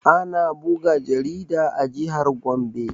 Ana buga jarida a jihar gombe